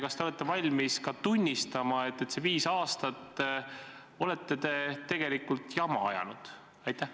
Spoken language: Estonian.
Kas te olete valmis tunnistama, et see viis aastat olete te tegelikult jama ajanud?